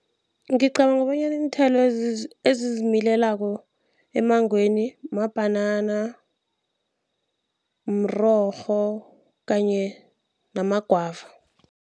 Ngicabanga bonyana iinthelo ezizimilelako emmangweni mabhanana, mrorho kanye nama-guava.